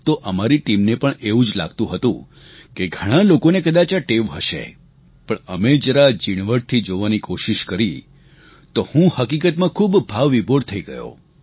તો અમારી ટીમને પણ એવું જ લાગતું હતું કે ઘણા લોકોને કદાચ આ ટેવ હશે પણ અમે જરા જીણવટથી જોવાની કોશીશ કરી તો હું હકીકતમાં ખૂબ ભાવવિભોર થઈ ગયો